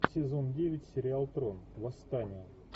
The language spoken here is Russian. сезон девять сериал трон восстание